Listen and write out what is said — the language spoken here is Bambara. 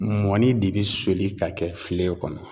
Mɔni de bɛ soli ka kɛ filen kɔnɔ.